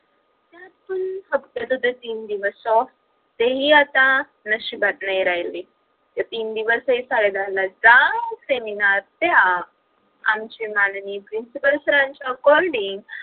फक्त ते तीन दिवस ऑफ तेही आता नशिबात नाही राहिले त्या तीन दिवसहि साडे दहा ला जा seminar द्या आमचे माननीय principal sir च्या according